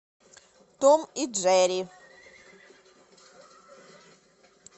том и джерри